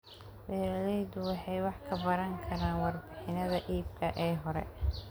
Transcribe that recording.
Beeraleydu waxay wax ka baran karaan warbixinnada iibka ee hore.